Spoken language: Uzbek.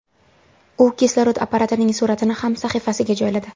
U kislorod apparatining suratini ham sahifasiga joyladi.